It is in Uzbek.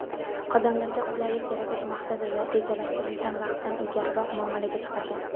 odamlarga qulaylik yaratish maqsadida rejalashtirilgan vaqtdan ilgariroq muomalaga chiqargan.